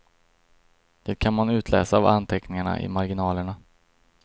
Det kan man utläsa av anteckningarna i marginalerna.